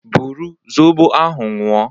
Bụrụ zọbọ ahụ ñyu o